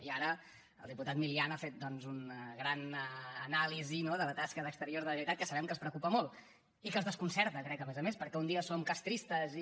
i ara el diputat milián ha fet doncs una gran anàlisi de la tasca d’exteriors de la generalitat que sabem que els preocupa molt i que els desconcerta crec a més a més perquè un dia som castristes i